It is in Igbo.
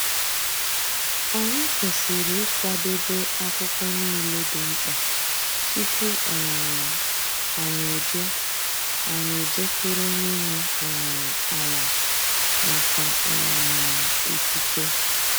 Anyị kwesịrị ịkwadebe akwụkwọ niile dị mkpa tupu um anyị eje anyị eje kwuru onye nwe um ala maka um ikike.